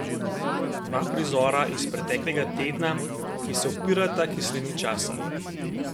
Dva prizora iz preteklega tedna, ki se upirata kislini časa.